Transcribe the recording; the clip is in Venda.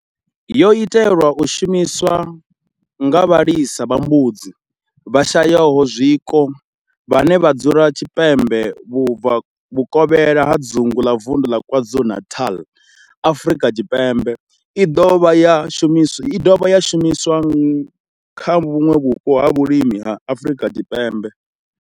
Yo itelwa u shumiswa nga vhalisa vha mbudzi vhashayaho zwiko vhane vha dzula tshipembe vhukovhela ha dzingu ḽa vunḓu la KwaZulu-Natal, Afrika Tshipembe, i dovha i do dovha ya shumiswa kha vhuṋwe vhupo ha vhulimi ha Afrika Tshipembe.